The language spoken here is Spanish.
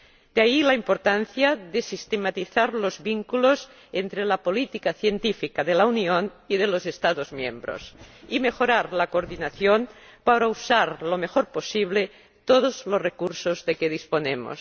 De ahí la importancia de sistematizar los vínculos entre la política científica de la Unión y de los Estados miembros, y de mejorar la coordinación para usar lo mejor posible todos los recursos de que disponemos.